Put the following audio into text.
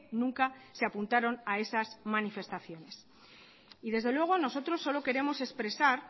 nunca se apuntaron a esas manifestaciones y desde luego nosotros solo queremos expresar